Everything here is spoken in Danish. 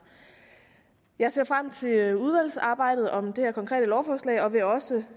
jeg ser frem til udvalgsarbejdet om det her konkrete lovforslag og vil også